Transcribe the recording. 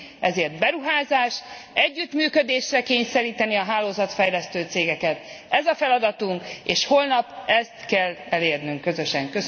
Ezért beruházásra, együttműködésre kényszeríteni a hálózatfejlesztő cégeket ez a feladatunk, és holnap ezt kell elérnünk közösen!